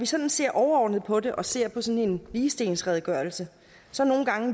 sådan ser overordnet på det og ser på sådan en ligestillingsredegørelse